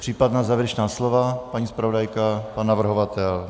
Případná závěrečná slova - paní zpravodajka, pan navrhovatel?